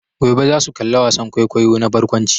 Gobe za su kalla wasan kwaikwayo na barkwanci.